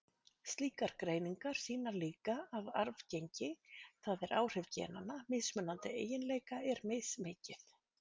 Slíkar greiningar sýna líka að arfgengi, það er áhrif genanna, mismunandi eiginleika er mismikið.